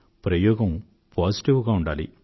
ప్రయోగం పాజిటివ్ గా ఉండాలి